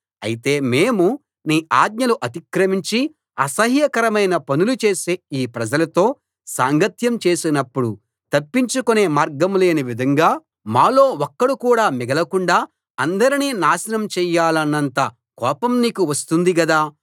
అయితే మేము నీ ఆజ్ఞలు అతిక్రమించి అసహ్యకరమైన పనులు చేసే ఈ ప్రజలతో సాంగత్యం చేసినప్పుడు తప్పించుకొనే మార్గం లేని విధంగా మాలో ఒక్కడు కూడా మిగలకుండా అందరినీ నాశనం చెయ్యాలన్నంత కోపం నీకు వస్తుంది గదా